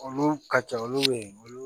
Olu ka ca olu bɛ ye olu